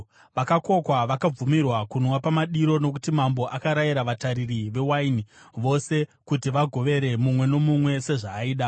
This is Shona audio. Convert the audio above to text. Vakakokwa vakabvumirwa kunwa pamadiro, nokuti mambo akarayira vatariri vewaini vose kuti vagovere mumwe nomumwe sezvaaida.